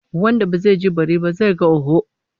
Wanda bai ji bari ba, zai ga hoho